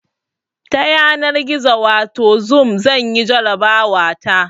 Ta yanar gizo wato zoom zanyi jarabawa ta